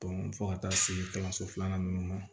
fo ka taa se kalanso filanan ninnu ma